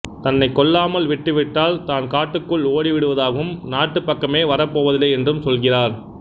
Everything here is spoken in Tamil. தன்னை கொல்லாமல் விட்டுவிட்டால் தான் காட்டுக்குள் ஓடிவிடுவதாகவும் நாட்டு பக்கமே வரப்போவதில்லை என்றும் சொல்கிறார்